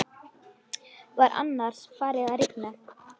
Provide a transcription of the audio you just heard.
Var annars farið að rigna?